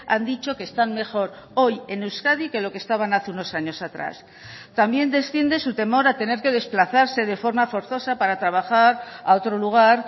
han dicho que están mejor hoy en euskadi que lo que estaban hace unos años atrás también desciende su temor a tener que desplazarse de forma forzosa para trabajar a otro lugar